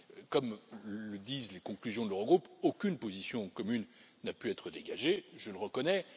Comme le disent les conclusions de l'Eurogroupe, aucune position commune n'a pu être dégagée je le reconnais.